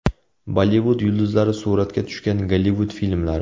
Bollivud yulduzlari suratga tushgan Gollivud filmlari.